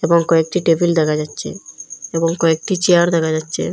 এবং কয়েকটি টেবিল দেখা যাচচে এবং কয়েকটি চেয়ার দেকা যাচচে।